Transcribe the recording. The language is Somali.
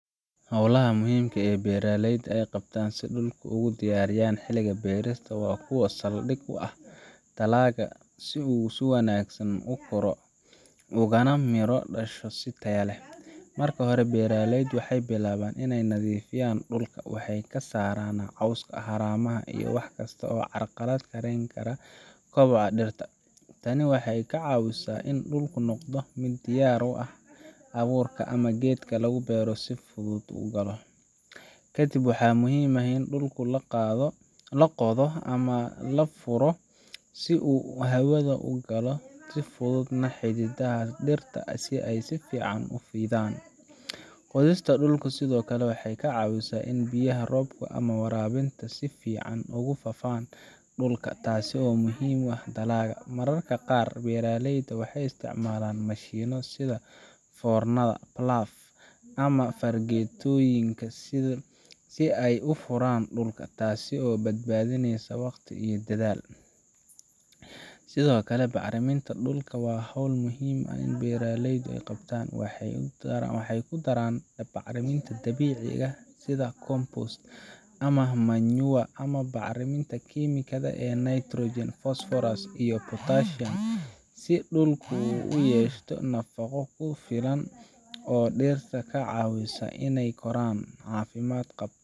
Hawlaha muhiimka ah ee beeraleyda ay qabtaan si ay dhulka ugu diyaariyaan xiliga beerista waa kuwo saldhig u ah in dalagga uu si wanaagsan u koro ugana miro dhasho si tayo leh. Marka hore, beeraleydu waxay bilaabaan in ay nadiifiyaan dhulka waxay ka saaraan cawska, haramaha, iyo wax kasta oo carqaladeyn kara kobaca dhirta. Tani waxay ka caawisaa in dhulku noqdo mid diyaar u ah in abuurka ama geedka lagu beero si fudud u galo. Kadib, waxaa muhiim ah in dhulka la qodo ama la furo si uu hawada u galo una fududaato xididdada dhirta in ay si fiican u fidaan. Qodista dhulka sidoo kale waxay ka caawisaa in biyaha roobka ama waraabinta si fiican ugu faafaan dhulka, taasoo muhiim u ah dalagga. Mararka qaar, beeraleyda waxay isticmaalaan mashiinno sida foornada plough ama fargeetooyinka si ay u furaan dhulka, taasoo badbaadinaysa waqti iyo dadaal. Sidoo kale, bacriminta dhulka waa hawl muhiim ah oo beeraleyda qabtaan. Waxay ku daraan bacriminta dabiiciga ah sida compost ama manure, ama bacriminta kiimikada ah ee nitrogen, phosphorus, iyo potassium si dhulka uu u yeesho nafaqo ku filan oo dhirta ka caawisa inay koraan caafimaad qabta.